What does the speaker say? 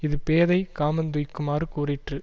இது பேதை காமந்துய்க்குமாறு கூறிற்று